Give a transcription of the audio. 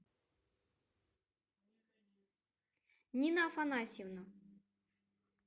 нина афанасьевна